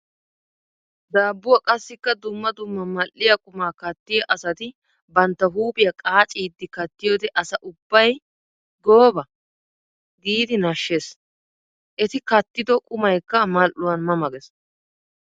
Dabbuwa qassikka dumma dumma mal'iya quma kattiya asatti bantta huuphiya qacciddi kattiyoode asa ubbay 'gooba'! Giidi nashees. Etti kattiddo qumaykka mali'uwan ma ma gees.